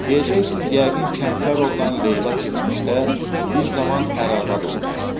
Deyəcəksiz yəqin Kəmtərovnan Leyla keçmişdə bir zaman ər-arvad olublar.